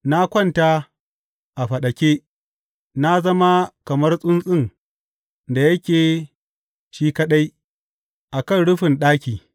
Na kwanta a faɗake; na zama kamar tsuntsun da yake shi kaɗai a kan rufin ɗaki.